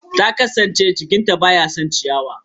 Ta kasance jikin ta bai son ciyawar.